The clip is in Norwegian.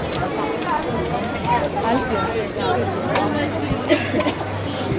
Eldbjørg Stubberud